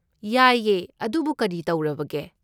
ꯌꯥꯏꯌꯦ, ꯑꯗꯨꯕꯨ ꯀꯔꯤ ꯇꯧꯔꯕꯒꯦ?